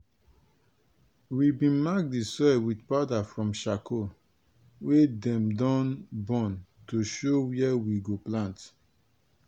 we bin mark di soil with powder from sharcoal wey dem don burn to show wia we go plant.